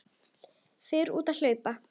Fer út að hlaupa.